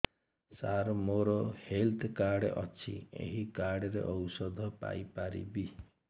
ସାର ମୋର health card ଅଛି ଏହି କାର୍ଡ ରେ ଔଷଧ ପାଇପାରିବି